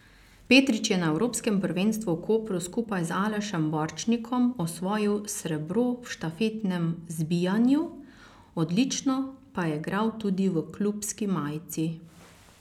Petrič je na evropskem prvenstvu v Kopru skupaj z Alešem Borčnikom osvojil srebro v štafetnem zbijanju, odlično pa je igral tudi v klubski majici.